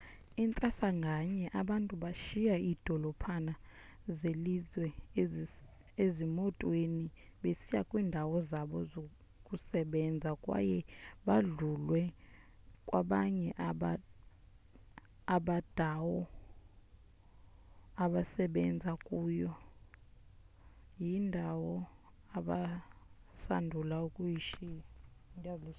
intsasa nganye abantu bashiya iidolophana zelizwe ezimotweni besiya kwiindawo zabo zokusebenza kwaye badlulwe kwabanye abadawo abasebenza kuyo yindawo abasandula ukuyishiya